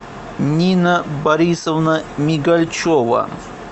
нина борисовна мигальчева